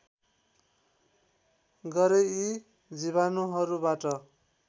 गरे यी जीवाणुहरूबाट